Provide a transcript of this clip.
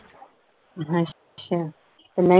ਅੱਛਾ ਤੇ